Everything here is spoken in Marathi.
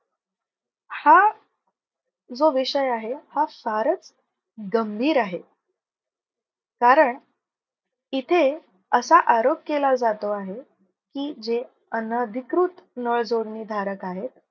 हा जो विषय आहे. हा फारच गंभीर आहे. कारण इथे असा आरोप केला जातो आहे. की, जे अनधिकृत नळ जोडणी धारक आहेत.